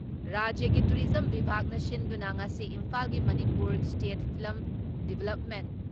ꯔꯥꯖ꯭ꯌꯒꯤ ꯇꯨꯔꯤꯖꯝ ꯕꯤꯚꯥꯛꯅ ꯁꯤꯟꯗꯨꯅ ꯉꯁꯤ ꯏꯝꯐꯥꯜꯒꯤ ꯃꯅꯤꯄꯨꯔ ꯏꯁꯇꯦꯠ ꯐꯤꯂꯝ ꯗꯤꯕ꯭ꯂꯞꯃꯦꯟ